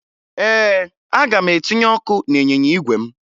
Ee, aga m etinye ọkụ n'ịnyịnya igwe m